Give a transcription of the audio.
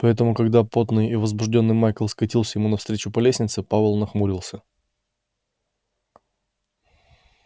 поэтому когда потный и возбуждённый майкл скатился ему навстречу по лестнице пауэлл нахмурился